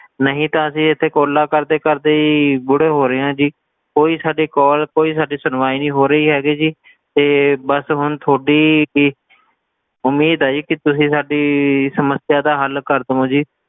ਨਹੀਂ ਤਾਂ ਅਸੀਂ ਇੱਥੇ calls ਕਰਦੇ ਕਰਦੇ ਹੀ ਬੁੜੇ ਹੋ ਰਹੇ ਆ ਜੀ ਕੋਈ ਸਾਡੀ call ਕੋਈ ਸਾਡੀ ਸੁਣਵਾਈ ਨਹੀਂ ਹੋ ਰਹੀ ਹੈਗੀ ਜੀ ਤੇ ਬਸ ਹੁਣ ਤੁਹਾਡੀ ਹੀ ਉਮੀਦ ਆ ਜੀ ਕਿ ਤੁਸੀ ਸਾਡੀ ਸਮੱਸਿਆ ਦਾ ਹੱਲ ਕਰ ਦਵੋ ਜੀ,